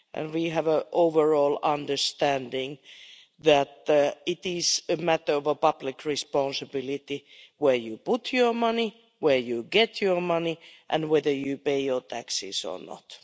We have an overall understanding that it is a matter of public responsibility where you put your money, where you get your money, and whether you pay your taxes or not.